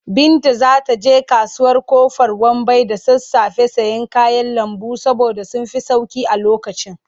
Binta za ta je kasuwar Ƙofar Wambai da sassafe sayen kayan lambu saboda sun fi sauƙi a lokacin.